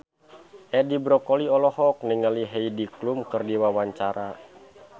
Edi Brokoli olohok ningali Heidi Klum keur diwawancara